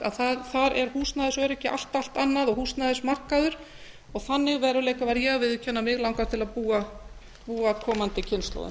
að þar er húsnæðisöryggi allt allt annað og húsnæðismarkaður þannig veruleika verð ég að viðurkenna að mig langar til að búa komandi kynslóðum